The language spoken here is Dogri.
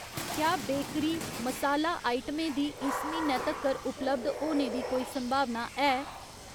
क्या बेकरी, मसाला आइटमें दी इस म्हीनै तक्कर उपलब्ध होने दी कोई संभावना है ?